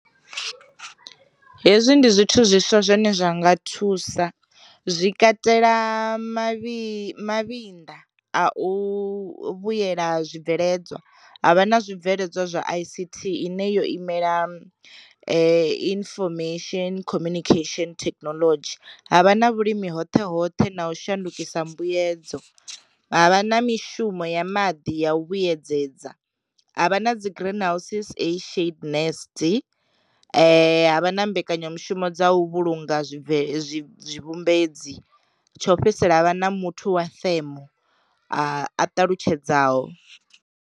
Hezwi ndi zwithu zwiswa zwine zwa nga thusa, zwi katela mavhi mavhinḓa a u vhuyela zwi bveledzwa, havha na zwi bveledzwa zwa I_C_T i ne yo imela i infomesheni communication thekinoḽodzhi, ha vha na vhulimi hoṱhe hoṱhe na u shandukisa mbuyedza, havha na mishumo ya maḓi ya u vhuyedzedza, ha vha na dzi green houses a shaped nest, ha vha na mbekanyamushumo dza u vhulunga zwibvele tshimbedzi, tsho fhedzisela havha na muthu wa themo a ṱalutshedzaho.